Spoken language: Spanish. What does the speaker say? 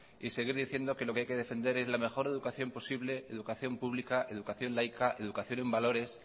y seguir diciendo que lo que hay que defender es la mejor educación posible educación pública educación laica educación en valores